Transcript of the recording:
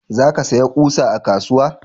za ka saya ƙusa a kasuwa?